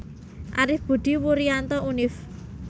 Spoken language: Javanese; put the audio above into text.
Arif Budi Wurianto Univ